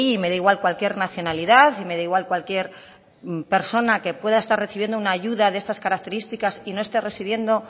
me da igual cualquier nacionalidad y me da igual cualquier persona que pueda estar recibiendo una ayuda de estas características y no esté residiendo